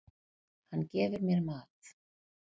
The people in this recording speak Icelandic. Hann gefur mér mat.